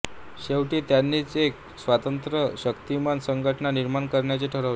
शेवटी त्यांनीच एक स्वतंत्र शक्तिमान संघटना निर्माण करण्याचे ठरवले